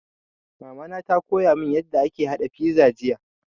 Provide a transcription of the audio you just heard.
Mama ta koya mun yarda ake haɗa fiza jiya